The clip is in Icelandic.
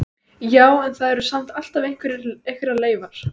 Já, en það eru samt alltaf einhverjar leifar.